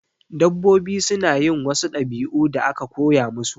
Dabbobi suna yin wasu ɗabi'u da aka koya musu